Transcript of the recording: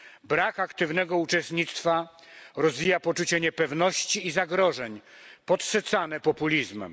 Brak aktywnego uczestnictwa rozwija poczucie niepewności i zagrożeń, podsycane populizmem.